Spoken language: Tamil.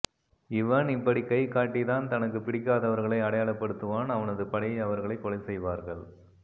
இவன் இப்படி கை காட்டித்தான் தனக்கு பிடிக்காதவர்களை அடையாளப்படுத்துவான் அவனது படை அவர்களை கொலை செய்வார்கள்